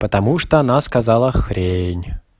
потому что она сказала хрень